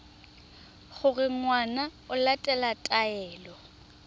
gore ngwana o latela taelo